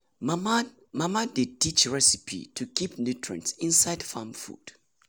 mama dey mama dey give recipe to keep nutrients inside farm food.